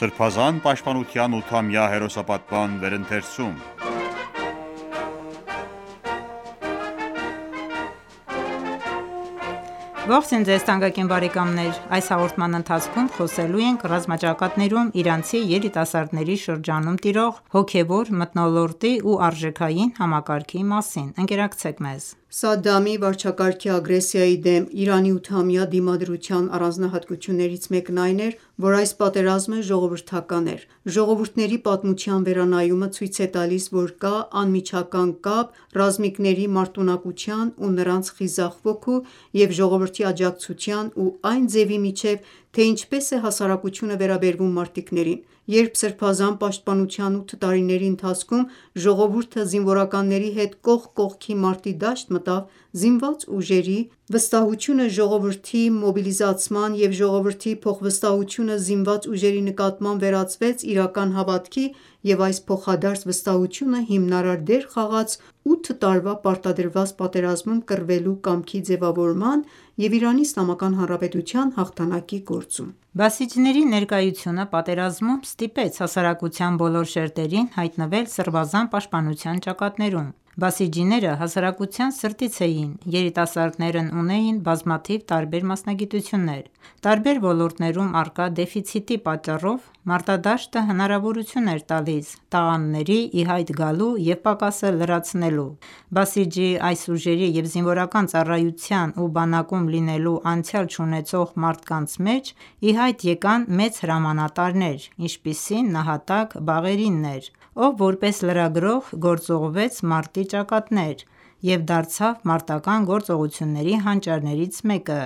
Սրբազան պաշտպանության 8-ամյա հերոսապատման վերընթերցում Ողջույն ձեզ թանկագին բարեկամներ: Այս հաղորդման ընթացքում խոսելու ենք ռազմաճակատներում Իրանցի երիտասարդների շրջանում տիրող հոգևոր մթնոլորտի ու արժեքային համակարգի մասին:Ընկերակցեք մեզ: Սադամի վարչակարգի ագրեսիայի դեմ Իրանի ութամյա դիմադրության առանձնահատկություններից մեկն այն էր, որ այս պատերազմը ժողովրդական էր։ Ժողովուրդների պատմության վերանայումը ցույց է տալիս, որ կա անմիջական կապ ռազմիկների մարտունակության ու նրանց խիզախ ոգու և ժողովրդի աջակցության ու այն ձևի միջև, թե ինչպես է հասարակությունը վերաբերվում մարտիկներին: Երբ սրբազան պաշտպանության ութ տարիների ընթացքում ժողովուրդը զինվորականների հետ կողք կողքի մարտի դաշտ մտավ, զինված ուժերի վստահությունը ժողովրդի մոբիլիզացման և ժողովրդի փոխվստահությունը զինված ուժերի նկատմամբ վերածվեց իրական հավատքի և այս փոխադարձ վստահությունը հիմնարար դեր խաղաց ութ տարվա պարտադրված պատերազմում կռվելու կամքի ձևավորման և Իրանի Իսլամական Հանրապետության հաղթանակի գործում: բասիջիների ներկայությունը պատերազմում ստիպեց հասարակության բոլոր շերտերին հայտնվել սրբազան պաշտպանության ճակատներում: Բասիջիները հասարակության սրտից էին: Երիտասարդներն ունեին բազմաթիվ տարբեր մասնագիտություններ։ Տարբեր ոլորտներում առկա դեֆիցիտի պատճառով մարտադաշտը հնարավորություն էր տալիս տաղանդների ի հայտ գալու և պակասը լրացնելու։ Բասիջի այս ուժերի և զինվորական ծառայության և բանակում լինելու անցյալ չունեցող մարդկանց մեջ ի հայտ եկան մեծ հրամանատարներ, ինչպիսին նահատակ Բաղերին էր, ով որպես լրագրող գործուղվեց մարտի ճակատներ և դարձավ մարտականգործողությունների հանճարներից մեկը։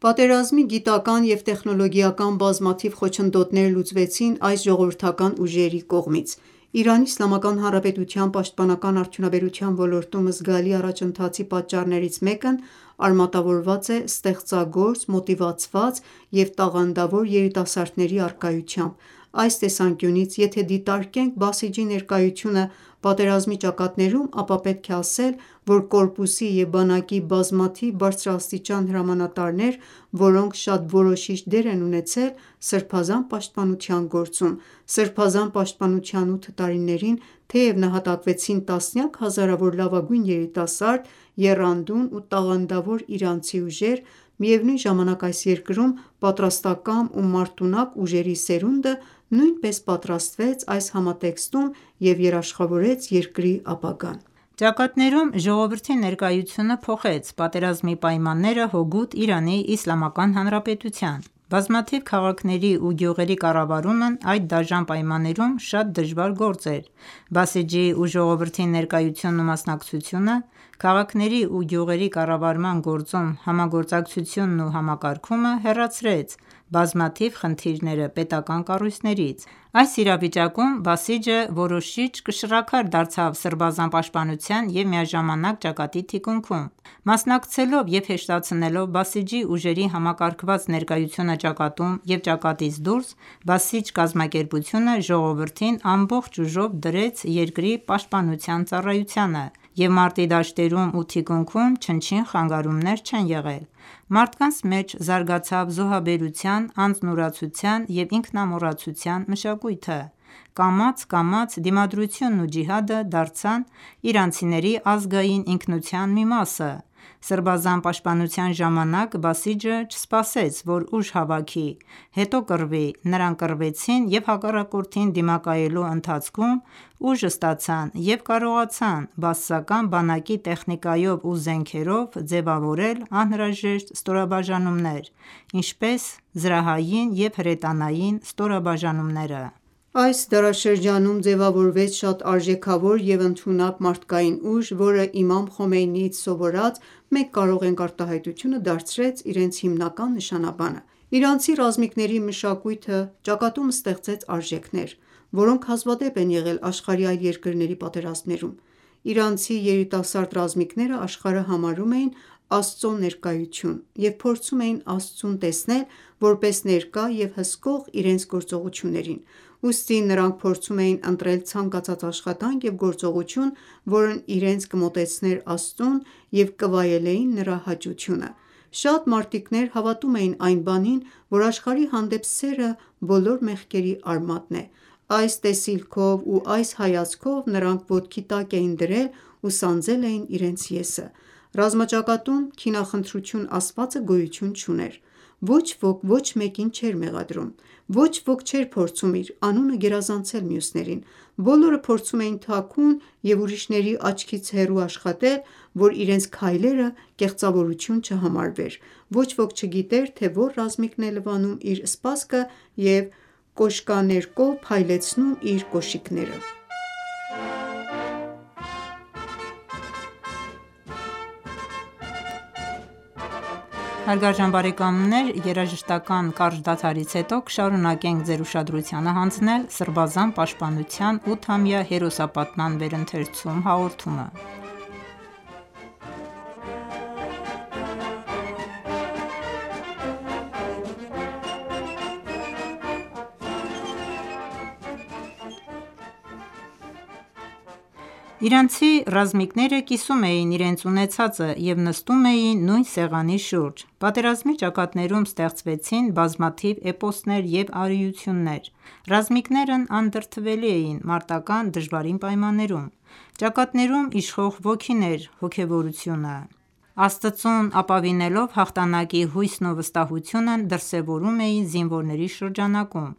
Պատերազմի գիտական և տեխնոլոգիական բազմաթիվ խոչընդոտներ լուծվեցին այս ժողովրդական ուժերի կողմից։ ԻԻՀ-ի պաշտպանական արդյունաբերության ոլորտում զգալի առաջընթացի պատճառներից մեկն արմատավորված է ստեղծագործ, մոտիվացված և տաղանդավոր երիտասարդների առկայությամբ: Այս տեսանկյունից, եթե դիտարկենք Բասիջի ներկայությունը պատերազմի ճակատներում, ապա պետք է ասել, որ կորպուսի և բանակի բազմաթիվ բարձրաստիճան հրամանատարներ, որոնք շատ որոշիչ դեր են ունեցել Սրբազան պաշտպանության գործում։ Սրբազան պաշտպանության ութ տարիներին, թեև նահատակվեցին տասնյակ հազարավոր լավագույն երիտասարդ, եռանդուն ու տաղանդավոր իրանցի ուժեր, միևնույն ժամանակ, այս երկրում պատրաստակամ ու մարտունակ ուժերի սերունդը նույնպես պատրաստվեց այս համատեքստում և երաշխավորեց երկրի ապագան։ Ճակատներում ժողովրդի ներկայությունը փոխեց պատերազմի պայմանները հօգուտ ԻԻՀ-ի։ Բազմաթիվ քաղաքների ու գյուղերի կառավարումն այդ դաժան պայմաններում շատ դժվար գործ էր։ Բասիջի ու ժողովրդի ներկայությունն ու մասնակցությունը, քաղաքների ու գյուղերի կառավարման գործում համագործակցությունն ու համակարգումը հեռացրեց բազմաթիվ խնդիրները պետական կառույցներից: Այս իրավիճակում Բասիջը որոշիչ կշռաքար դարձավ Սրբազան պաշտպանության և միաժամանակ ճակատի թիկունքում։ Մասնակցելով և հեշտացնելով Բասիջի ուժերի համակարգված ներկայությունը ճակատում և ճակատից դուրս՝ Բասիջ կազմակերպությունը ժողովրդին ամբողջ ուժով դրեց երկրի պաշտպանության ծառայությանը, և մարտի դաշտերում և թիկունքում չնչին խանգարումներ չեն եղել։ Մարդկանց մեջ զարգացավ զոհաբերության, անձնուրացության և ինքնամոռացության մշակույթը։ Կամաց-կամաց դիմադրությունն ու ջիհադը դարձան իրանցիների ազգային ինքնության մի մասը։ Սրբազան պաշտպանության ժամանակ Բասիջը չսպասեց, որ ուժ հավաքի, հետո կռվի, նրանք կռվեցին և հակառակորդին դիմակայելու ընթացքում ուժ ստացան և կարողացան բաասական բանակի տեխնիկայով ու զենքերով ձևավորել անհրաժեշտ ստորաբաժանումներ՝ ինչպես զրահային և հրետանային ստորաբաժանումներ։ Այս դարաշրջանում ձևավորվեց շատ արժեքավոր և ընդունակ մարդկային ուժ, որը իմամ Խոմեյնիից սովորած «մենք կարող ենք» արտահայտությունը դարձրեց իրենց հիմնական նշանաբանը: Իրանցի ռազմիկների մշակույթը ճակատում ստեղծեց արժեքներ, որոնք հազվադեպ են եղել աշխարհի այլ երկրների պատերազմներում: Իրանցի երիտասարդ ռազմիկները աշխարհը համարում էին Աստծո ներկայություն և փորձում էին Աստծուն տեսնել որպես ներկա և հսկող իրենց գործողություններին: Ուստի, նրանք փորձում էին ընտրել ցանկացած աշխատանք և գործողություն, որն իրենց կմոտեցներ Աստծուն և կվայելեին Նրա հաճությունը: Շատ մարտիկներ հավատում էին այն բանին, որ «Աշխարհի հանդեպ սերը բոլոր մեղքերի արմատն է»: Այս տեսիլքով ու այս հայացքով նրանք ոտքի տակ էին դրել ու սանձել էին իրենց «ես»ը։ Ռազմաճակատում քինախնդրություն ասվածը գոյույուն չուներ։ Ոչ ոք ոչ մեկին չէր մեղադրում։ Ոչ ոք չէր փորձում իր անունը գերազանցել մյուսներին։ Բոլորը փորձում էին թաքուն ու ուրիշների աչքից հեռու աշխատել, որ իրենց քայլերը կեղծավորություն չհամարվեր։ Ոչ ոք չգիտեր, թե որ ռազմիկն է լվանում իր սպասքը և կոշկաներկով փայլեցնում իր կոշիկները։ Իրանցի ռազմիկները կիսում էին իրենց ունեցածը և նստում էին նույն սեղանի շուրջ։ Պատերազմի ճակատներում ստեղծվեցին բազմաթիվ էպոսներ և արիություններ։ Ռազմիկները անդրդվելի էին մարտական դժվարին պայմաններում: Ճակատներում իշխող ոգին էր հոգևորությունը: Աստծուն ապավինելով հաղթանակի հույսն ու վստահությունն դրսևորվում էին զինվորների շրջանակում։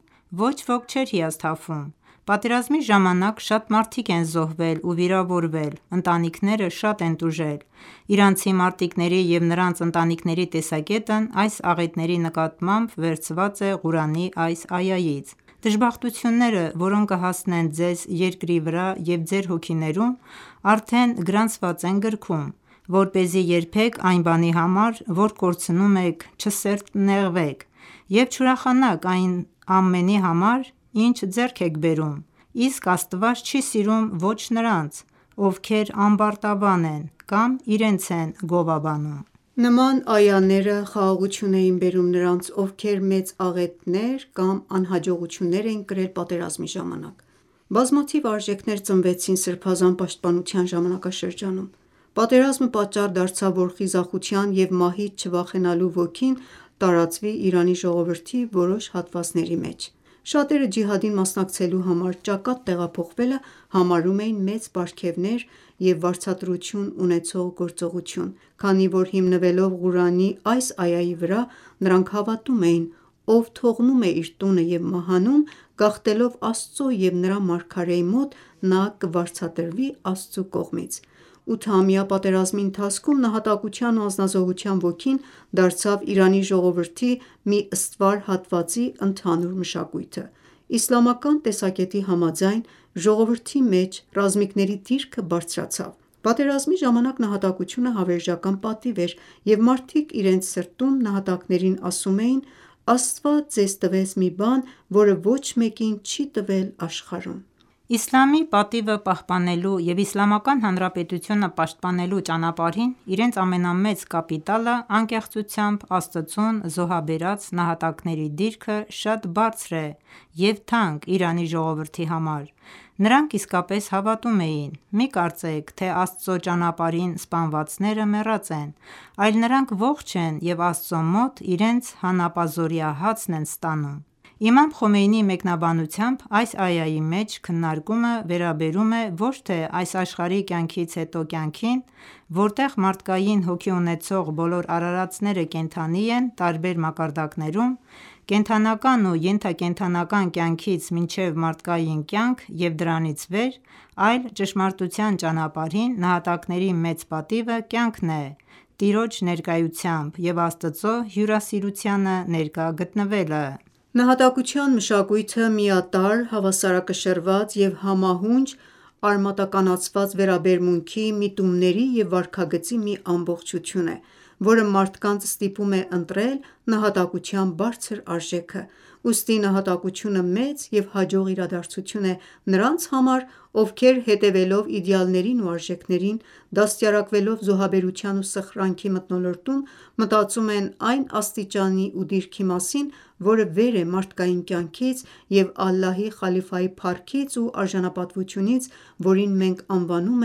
Ոչ ոք չէր հիասթափվում։ Պատերազմի ժամանակ շատ մարդիկ են զոհվել ու վիրավորվել, ընտանիքները շատ են տուժել։ Իրանցի մարտիկների և նրանց ընտանիքների տեսակետն այս աղետների նկատմամբ վերցված է Ղուրանի այս այայից.«Դժբախտությունները, որոնք կհասնեն ձեզ երկրի վրա և ձեր հոգիներում, արդեն գրանցված են գրքում, որպեսզի երբեք այն բանի համար, որ կորցնում եք չսրտնեղվեք և չուրախանաք այն ամենի համար, ինչ ձեռք եք բերում, իսկ Աստված չի սիրում ոչ նրանց, ովքեր ամբարտավան են կամ իրենց են գովաբանում: Նման այաները խաղաղություն էին բերում նրանց, ովքեր մեծ աղետներ կամ անհաջողություններ էին կրել պատերազմի ժամանակ։ Բազմաթիվ արժեքներ ծնվեցին Սրբազան պաշտպանության ժամանակաշրջանում: Պատերազմը պատճառ դարձավ, որ խիզախության և մահից չվախենալու ոգին տարածվի Իրանի ժողովրդի որոշ հատվածների մեջ: Շատերը ջիհադին մասնակցելու համար ճակատ տեղափոխվելը համարում էին մեծ պարգևներ և վարձատրություն ունեցող գործողություն, քանի որ հիմնվելով Ղուրանի այս այայի վրա՝ նրանք հավատում էին.«Ով թողնում է իր տունը և մահանում՝ գաղթելով Աստծո և Նրա Մարգարեի մոտ, նա կվարձատրվի Աստծու կողմից»: Ութամյա պատերազմի ընթացքում նահատակության ու անձնազոհության ոգին դարձավ Իրանի ժողովրդի մի ստվար հատվածի ընդհանուր մշակույթը։ Իսլամական տեսակետի համաձայն՝ ժողովրդի մեջ ռազմիկների դիրքը բարձրացավ։ Պատերազմի ժամանակ նահատակությունը հավերժական պատիվ էր, և մարդիկ իրենց սրտում նահատակներին ասում էին.«Աստված ձեզ տվեց մի բան, որը ոչ մեկին չի տվել աշխարհում»: Իսլամի պատիվը պահպանելու և Իսլամական Հանրապետությունը պաշտպանելու ճանապարհին իրենց ամենամեծ կապիտալը անկեղծությամբ Աստծուն զոհաբերած նահատակների դիրքը շատ բարձր է և թանկ Իրանի ժողովրդի համար։ Նրանք իսկապես հավատում էին.«Մի կարծեք, թե Աստծո ճանապարհին սպանվածները մեռած են, այլ նրանք ողջ են և Աստծո մոտ իրենց հանապազօրյա հացն են ստանում»: Իմամ Խոմեյնիի մեկնաբանությամբ այս այայի մեջ քննարկումը վերաբերում է ոչ թե այս աշխարհի կյանքից հետո կյանքին, որտեղ մարդկային հոգի ունեցող բոլոր արարածները կենդանի են տարբեր մակարդակներում՝ կենդանական և ենթակենդանական կյանքից մինչև մարդկային կյանք և դրանից վեր, այլ ճշմարտության ճանապարհին նահատակների մեծ պատիվը կյանքն է Տիրոջ ներկայությամբ և Աստծո հյուրասիրությանը ներկա գտնվելը: Նահատակության մշակույթը միատարր, հավասարակշռված և համահունչ արմատականացված վերաբերմունքի, միտումների և վարքագծի մի ամբողջություն է, որը մարդկանց ստիպում է ընտրել նահատակության բարձր արժեքը: Ուստի նահատակությունը մեծ և հաջող իրադարձություն է նրանց համար, ովքեր, հետևելով իդեալներին ու արժեքներին, դաստիարակվելով զոհաբերության ու սխրանքի մթնոլորտում, մտածում են այն աստիճանի ու դիրքի մասին, որը վեր է մարդկային կյանքից և Ալլահի խալիֆայի փառքից ու արժանապատվությունից, որին մենք անվանում